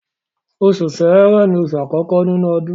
Oṣù Ṣẹ́rẹ́ ni oṣù àkọ́kọ́ nínú ọdún.